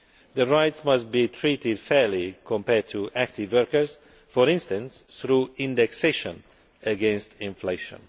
The rights must be treated fairly compared to active workers, for instance through indexation against inflation.